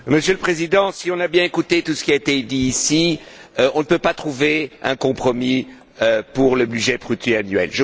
Monsieur le Président, si on a bien écouté tout ce qui a été dit ici, on ne peut pas trouver un compromis pour le budget pluriannuel.